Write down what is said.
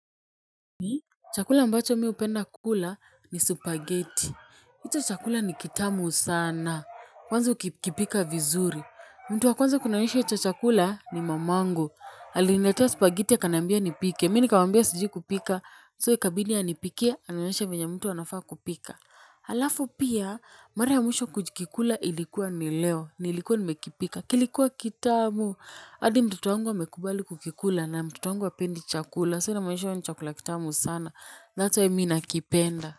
Chakula ambacho mi hupenda kula ni supageti. Hicho chakula ni kitamu sana. Kwanza ukipika vizuri. Mtu wa kwanza kunionyesha hicho chakula ni mamangu. Alinetea supageti akaniambia nipike. Mimi nikamwambia sijui kupika. So ikabidi anipikie. Anionyeshe venye mtu anafaa kupika. Halafu pia, mara ya mwisho kukikula ilikuwa ni leo. Nilikuwa nimekipika. Kilikuwa kitamu. Hadi mtoto wangu amekubali kukikula na mtoto wangu hapendi chakula. So inamaanisha hiyo ni chakula kitamu sana That's why mi nakipenda.